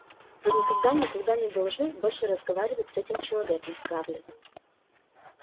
вы никогда никогда не должны больше разговаривать с этим человеком скарлетт